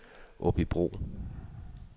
Aabybro